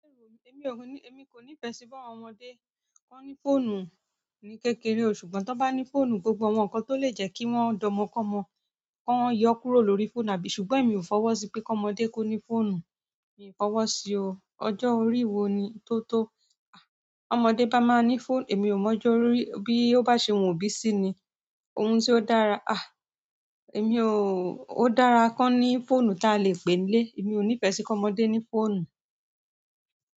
Èmi kò ní ìfẹ́ sí ba àwọn ọmọdé ki wọn ní fóònù ní kékeré, ṣùgbọ́n tí wọ́n bá ní fóònù, gbogbo àwọn nǹkan tó lè jẹ́ kí wọ́n dọ́mọkọ́mọ̀ kọ́ wọn yọ kúrò lórí fóònù àbí? Ṣùgbọ́n èmi ò fọwọ́ sí pé kọmọdé kò ní fóònù, mi ò fọwọ́ sí o. Ọjọ́ orí wo ni, tó tó? Ọmọdé bá máa ní fóònù, èmi ò mọ ọjọ́ orí, bí ó bá ṣe wù ú òbí sí i ni. Ohun tí ó dára, ó dára kọ́ ní fóònù ta lè pè nlé, èmi ò ní ìfẹ́ sí kọmọdé ní fóònù.